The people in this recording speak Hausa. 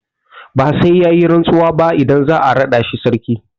Ba sai ya yi rantsuwa ba idan za a raɗa shi sarki.